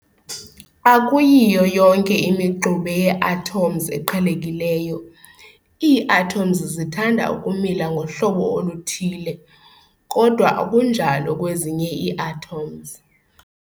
Akuyiyo yonke imixube yee-atoms eqhelekileyo, ii-atoms zithanda ukumila ngohlobo oluthile, kodwa akunjalo kwezinye ii-atoms.